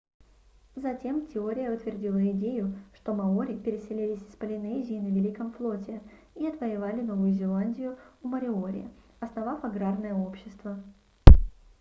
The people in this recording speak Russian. затем теория утвердила идею что маори переселились из полинезии на великом флоте и отвоевали новую зеландию у мориори основав аграрное общество